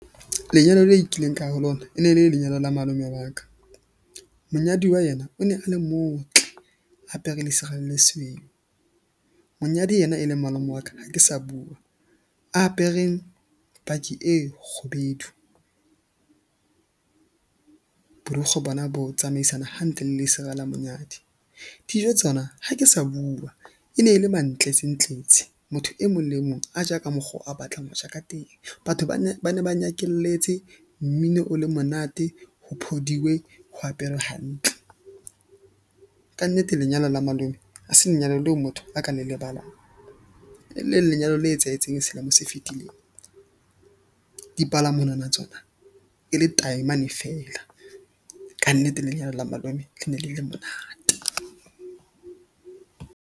Lenyalo le kileng ka ya ho lona e ne le lenyalo la malome wa ka. Monyadiwa yena o ne a le motle a apere lesira le lesweu. Monyadi ena e leng malome wa ka, ha ke sa bua a apere paki e kgubedu, borukgwe bona bo tsamaisana hantle le lesira la monyadi. Dijo tsona ha ke sa bua. E ne le mantletsentletse motho e mong le e mong a ja ka mokgo a batlang ho ja ka teng. Batho ba ne ba nyakelletse mmino o le monate ho phodiwe ho aperwe hantle. Kannete lenyalo la malome ha se lenyalo leo motho a ka le lebala, e leng lenyalo le etsahetseng selemong se fetileng, dipalamonwana tsona e le taemane feela. Kannete lenyalo la malome le ne le le monate.